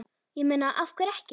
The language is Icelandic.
Ég meina, af hverju ekki?